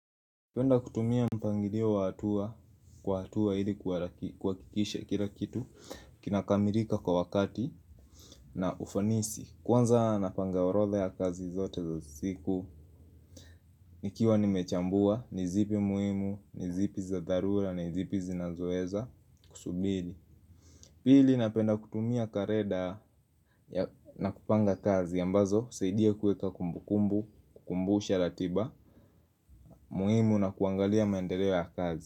Napenda kutumia mpangilio wa atua kwa hatua hili kuhakikisha kila kitu kinakamirika kwa wakati na ufanisi. Kwanza napanga orodha ya kazi zote za siku nikiwa nimechambua ni zipi muhimu ni zipi za dharura ni zipi zinazoeza kusubiri. Pili napenda kutumia kareda na kupanga kazi ambazo husaidia kueka kumbukumbu kumbusha ratiba muhimu na kuangalia mendeleo ya kazi.